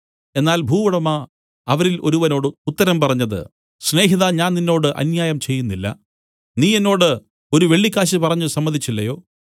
എന്നാൽ ഭൂവുടമ അവരിൽ ഒരുവനോട് ഉത്തരം പറഞ്ഞത് സ്നേഹിതാ ഞാൻ നിന്നോട് അന്യായം ചെയ്യുന്നില്ല നീ എന്നോട് ഒരു വെള്ളിക്കാശ് പറഞ്ഞു സമ്മതിച്ചില്ലയോ